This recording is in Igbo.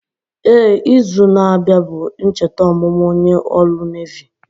Éè, izu na abịa bụ ncheta ọmụmụ onye ọrụ Nevi